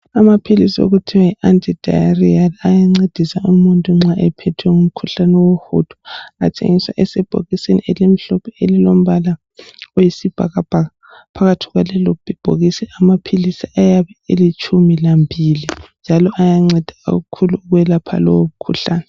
Amaphilisi okuthiwa yi Ant-Diarrheal, ayancedisa umuntu ophethwe ngumkhuhlane wohudo, athengiswa esebhokisini elimhlophe elilombala oyisibhakabhaka, phakathi kwalelo bhokisi amaphilisi ayabe elitshumi lambili njalo ayanceda kakhulu ukwelapha lowomkhuhlane